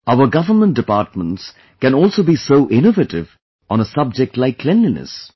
Our government departments can also be so innovative on a subject like cleanliness